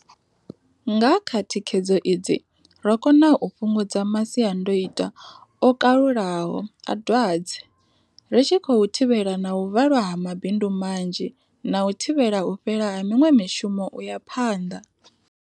Nga kha thikhedzo idzi ro kona u fhungudza masiandoitwa o kalulaho a dwadze, ri tshi khou thivhela na u valwa ha mabindu manzhi na u thivhela u fhela ha miṅwe mishumo u ya phanḓa.